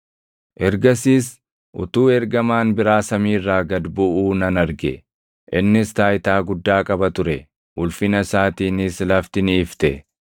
Ergasiis utuu ergamaan biraa samii irraa gad buʼuu nan arge. Innis taayitaa guddaa qaba ture; ulfina isaatiinis lafti ni ifte.